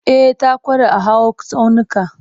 E, ta ƙware a hawa tsaunuka.